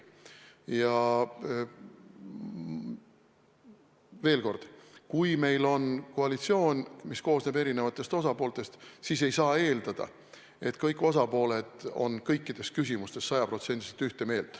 Veel kord: kui meil on koalitsioon, mis koosneb erinevatest osapooltest, siis ei saa eeldada, et kõik osapooled on kõikides küsimustes sada protsenti ühte meelt.